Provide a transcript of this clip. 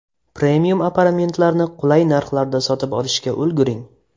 Premium aparamentlarni qulay narxlarda sotib olishga ulguring!